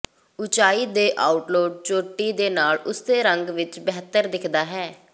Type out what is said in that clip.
ਉਚਾਈ ਦੇ ਆਊਟਲੌਟ ਚੋਟੀ ਦੇ ਨਾਲ ਉਸੇ ਰੰਗ ਵਿੱਚ ਬਿਹਤਰ ਦਿਖਦਾ ਹੈ